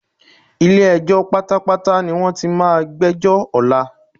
Ilé-ẹjọ́ pátápátá ní wọ́n ti máa gbẹ́jọ́ ọ̀la.